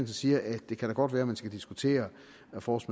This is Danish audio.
siger at det da godt at man skal diskutere force